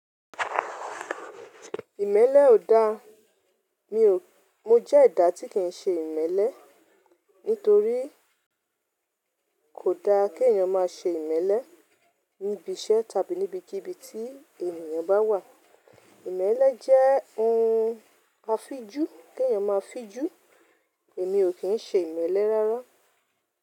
Ìmẹ́lẹ́ ò da. Mi ò— mo jẹ́ ẹ̀dà tí kìí ṣe ìmẹ́lẹ́. Nítorí kò da kí èèyàn má ṣe ìmẹ́lẹ́ níbi iṣẹ́ tàbí níbi kí ibi tí ènìyàn bá wà. Ìmẹ́lẹ́ jẹ́ ohun afijú kí èèyàn má fijú. Èmi ò kí ń ṣe ìmẹ́lẹ́ rárá.